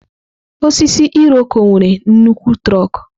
Osisi Iroko nwere nnukwu trọkú.